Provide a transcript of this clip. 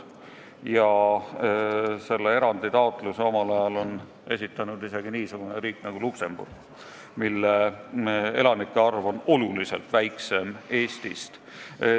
Omal ajal on esitanud selle erandi taotluse isegi niisugune riik nagu Luksemburg, mille elanike arv on oluliselt väiksem kui Eestis.